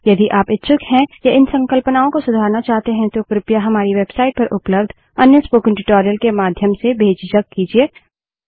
यदि आप इच्छुक हैं या इन संकल्पनाओं को सुधारना चाहते हैं तो कृपया हमारी वेबसाइट पर उपलब्ध अन्य स्पोकन ट्यूटोरियल के माध्यम से बेझिझक कीजिए